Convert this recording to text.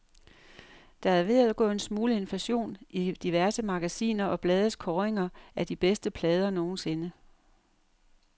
Der er ved at gå en smule inflation i diverse magasiner og blades kåringer af de bedste plader nogensinde.